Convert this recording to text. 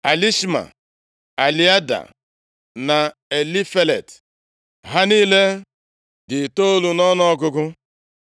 Elishama, Eliada na Elifelet. Ha niile dị itoolu nʼọnụọgụgụ.